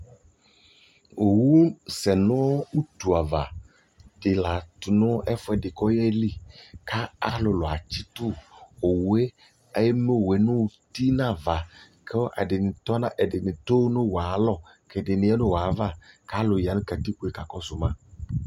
ɔwʋ sɛnʋ ʋtʋ aɣa di laatʋ ɛƒʋɛdi kʋɔyɛli kʋ alʋlʋatsitʋ, ɔwʋɛ, ɛmɛɔwʋɛ ʋti nʋaɣakʋ ɛdini tʋnʋɔwʋɛ ayialɔ kʋ ɛdini yanʋ ɔwʋɛ aɣa kʋb ɛdini yanʋkatikpɔɛ kakɔsʋ ma